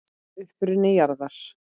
Uppruni jarðar